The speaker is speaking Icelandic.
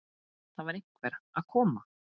Það var einhver að koma!